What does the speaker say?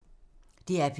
DR P2